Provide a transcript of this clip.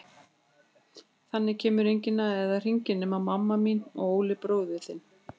Þangað kemur enginn eða hringir, nema mamma mín og Óli bróðir þinn.